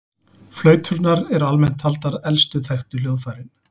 Flauturnar eru almennt taldar elstu þekktu hljóðfærin.